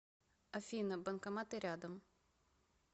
афина банкоматы рядом